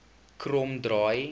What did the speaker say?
kromdraai